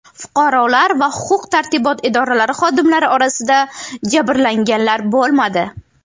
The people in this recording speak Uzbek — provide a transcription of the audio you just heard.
Fuqarolar va huquq-tartibot idoralari xodimlari orasida jabrlanganlar bo‘lmadi.